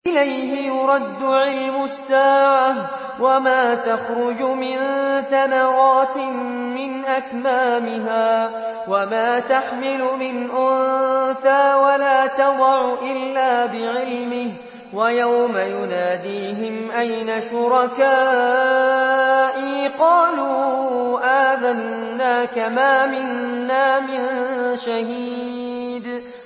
۞ إِلَيْهِ يُرَدُّ عِلْمُ السَّاعَةِ ۚ وَمَا تَخْرُجُ مِن ثَمَرَاتٍ مِّنْ أَكْمَامِهَا وَمَا تَحْمِلُ مِنْ أُنثَىٰ وَلَا تَضَعُ إِلَّا بِعِلْمِهِ ۚ وَيَوْمَ يُنَادِيهِمْ أَيْنَ شُرَكَائِي قَالُوا آذَنَّاكَ مَا مِنَّا مِن شَهِيدٍ